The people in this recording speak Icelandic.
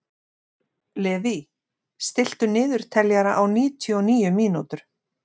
Levý, stilltu niðurteljara á níutíu og níu mínútur.